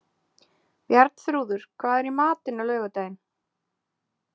Bjarnþrúður, hvað er í matinn á laugardaginn?